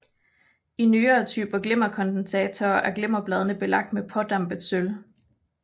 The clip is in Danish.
I nyere typer glimmerkondensatorer er glimmerbladene belagt med pådampet sølv